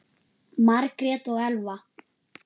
Margrét og Elfa.